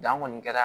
Dan kɔni kɛra